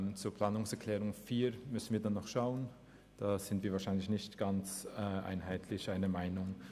Was die Planungserklärung 4 betrifft, sind wir wahrscheinlich nicht alle der gleichen Meinung.